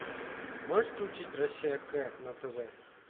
можешь включить россия к на тв